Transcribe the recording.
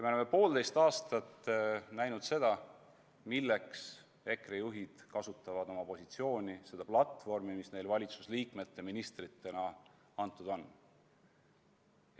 Me oleme poolteist aastat näinud, milleks EKRE juhid kasutavad oma positsiooni, seda platvormi, mis neile valitsusliikmete, ministritena antud on.